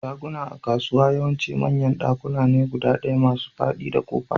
Shaguna a kasuwa yawanci manyan dakuna ne guda ɗaya masu fadi da kofa.